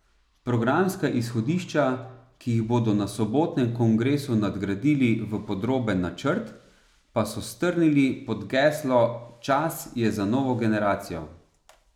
Programska izhodišča, ki jih bodo na sobotnem kongresu nadgradili v podroben načrt, pa so strnili pod geslo Čas je za novo generacijo.